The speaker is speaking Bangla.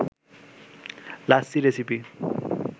লাচ্ছি রেসিপি